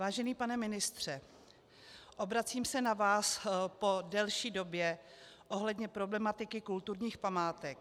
Vážený pane ministře, obracím se na vás po delší době ohledně problematiky kulturních památek.